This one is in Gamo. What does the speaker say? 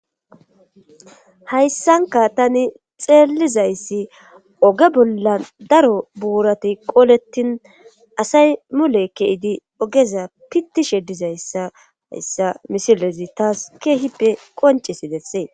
Hayssanka tani xeellizayssi oge bolla daro buurati qoolettin asay mule keidi ogeza pittishe dizayssa hayssa misilezi taas keehippe qonce si dessee.